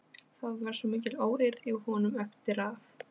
Það var svo mikil óeirð í honum eftir að